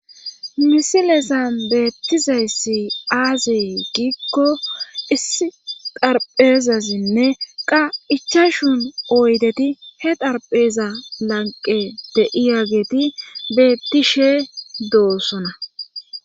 Misilezan beettizayssi aazi giikko issi darpheezazinne qa ichashun oydeti he darpheeza lanqe de'iya geeti bettishe doossona.